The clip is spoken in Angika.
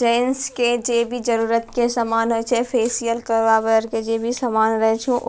जैन्स के जे भी जरूरत के समान होए छे फेसियल करवावे अर के जे भी सामान रहे छो --